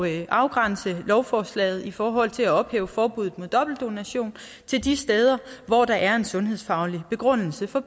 at afgrænse lovforslaget i forhold til at ophæve forbuddet mod dobbeltdonation til de steder hvor der er en sundhedsfaglig begrundelse for